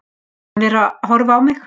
Hann er að horfa á mig.